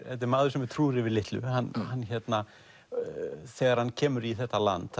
þetta er maður sem er trúr yfir litlu þegar hann kemur í þetta land